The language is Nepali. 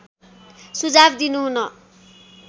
सुझाव दिनुहुन